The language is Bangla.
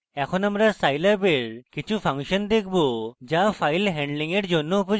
এখন আমরা scilab এর কিছু ফাংশন দেখব যা file handling এর জন্য উপযোগী